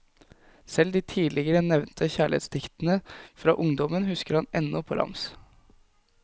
Selv de tidligere nevnte kjærlighetsdiktene fra ungdommen husker han ennå på rams.